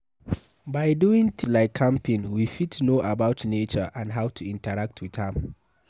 By doing things like camping we fit know about nature and how to interact with am